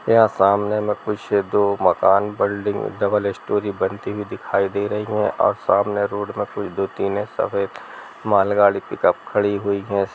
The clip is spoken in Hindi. यहाँ सामने में कुछ दो मकान बिल्डिंग डबल स्टोरी बनती हुई दिखाई दे रही है और सामने रोड में कुछ दो तीने सफ़ेद मालगाड़ी पिकअप खड़ी हुई है।